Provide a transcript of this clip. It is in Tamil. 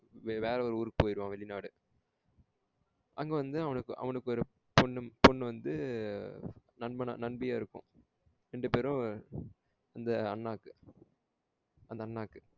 வேற ஒரு ஊருக்கு போய்டுவன். வெளிநாடு. அங்க வந்து அவனுக்கு ஒரு பொண்ணு பொண்ணு வந்து நண்பனா நண்பியா இருக்கும். ரெண்டு பெரும் இந்த அண்ணாக்கு அந்த அண்ணாக்கு